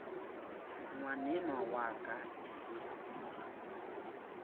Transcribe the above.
ngwanenwa wa ka e se